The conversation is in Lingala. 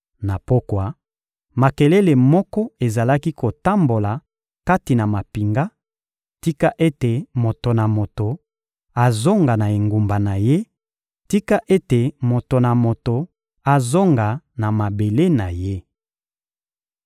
Na pokwa, makelele moko ezalaki kotambola kati na mampinga: «Tika ete moto na moto azonga na engumba na ye; tika ete moto na moto azonga na mabele na ye!»